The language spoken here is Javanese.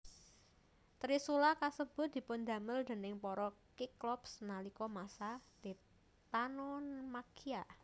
Trisula kasebut dipundamel déning para Kiklops nalika masa Titanomakhia